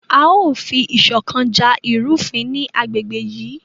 A yóò fi iṣọkan ja irufin ni agbegbe yii